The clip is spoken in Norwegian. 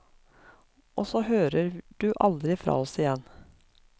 Og så hører du aldri fra oss igjen.